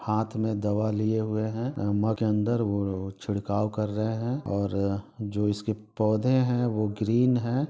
हात में दवा लिए हुए हैं के अंदर वो चिढखव कर रहे हैं और जो इसके पौधे हैं वो ग्रीन हैं।